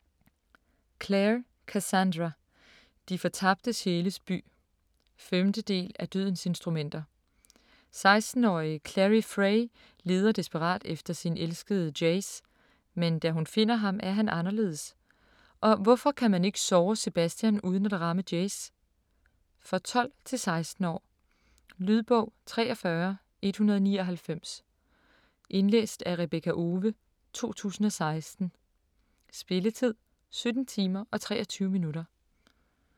Clare, Cassandra: De fortabte sjæles by 5. del af Dødens instrumenter. 16-årige Clary Fray leder desperat efter sin elskede Jace, men da hun finder ham, er han anderledes. Og hvorfor kan man ikke såre Sebastian uden at ramme Jace? For 12-16 år. Lydbog 43199 Indlæst af Rebekka Owe, 2016. Spilletid: 17 timer, 23 minutter.